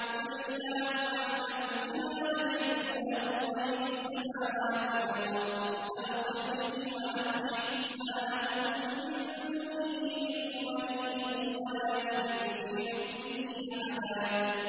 قُلِ اللَّهُ أَعْلَمُ بِمَا لَبِثُوا ۖ لَهُ غَيْبُ السَّمَاوَاتِ وَالْأَرْضِ ۖ أَبْصِرْ بِهِ وَأَسْمِعْ ۚ مَا لَهُم مِّن دُونِهِ مِن وَلِيٍّ وَلَا يُشْرِكُ فِي حُكْمِهِ أَحَدًا